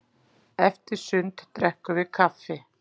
Eftir sund drekkum við kaffi.